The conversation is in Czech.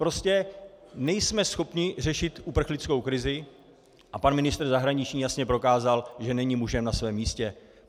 Prostě nejsme schopni řešit uprchlickou krizi a pan ministr zahraničí jasně prokázal, že není mužem na svém místě.